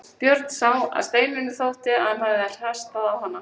Björn sá að Steinunni þótti að hann hafði hastað á hana.